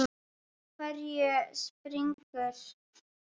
Á hverju springur?